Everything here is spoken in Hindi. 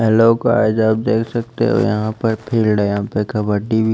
हेलो गाइस आप देख सकते हो यहां पे फील्ड यहां पे कबड्डी भी --